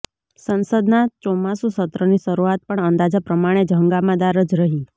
સંસદના ચોમાસું સત્રની શરૂઆત પણ અંદાજા પ્રમાણે જ હંગામાદાર જ રહી